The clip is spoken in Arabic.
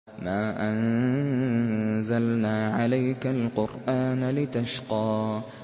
مَا أَنزَلْنَا عَلَيْكَ الْقُرْآنَ لِتَشْقَىٰ